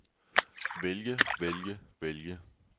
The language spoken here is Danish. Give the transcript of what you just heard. vælge vælge vælge